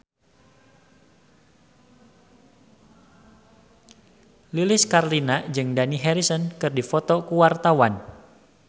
Lilis Karlina jeung Dani Harrison keur dipoto ku wartawan